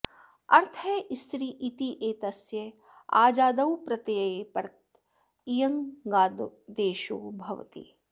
अर्थः स्त्री इत्येतस्य अजादौ प्रत्यये परत इयङादेशो भवति